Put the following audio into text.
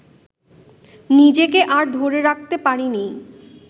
নিজেকে আর ধরে রাখতে পারিনি